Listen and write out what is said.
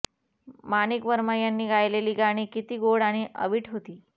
माणिक वर्मा यांनी गायलेली गाणी किती गोड आणि अवीट होती